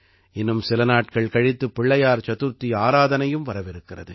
இன்னும் சில நாட்கள் கழித்து பிள்ளையார் சதுர்த்தி ஆராதனையும் வரவிருக்கிறது